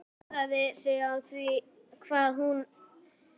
Furðaði sig á því hvað húðin var köld og þvöl.